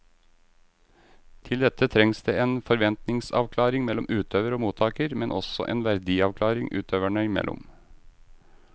Til dette trengs det en forventningsavklaring mellom utøver og mottaker, men også en verdiavklaring utøverne imellom.